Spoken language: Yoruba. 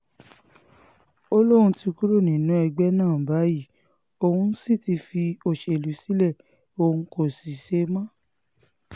ó lóun ti kúrò nínú ẹgbẹ́ náà báyìí òun sì ti fi òṣèlú sílẹ̀ òun kó ṣe mọ́